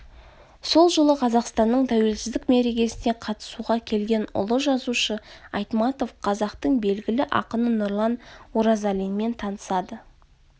сол жылы қазақстанның тәуелсіздік мерекесіне қатысуға келген ұлы жазушы айтматов қазақтын белгілі ақыны нұрлан оразалинмен танысады